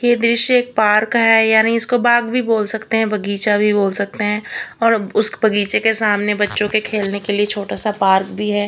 ये दृश्य एक पार्क का है यानी इसको बाग भी बोल सकते हैं बगीचा भी बोल सकते हैं और उस बागीचे के सामने बच्चों के खेलने के लिए छोटा सा पार्क भी है।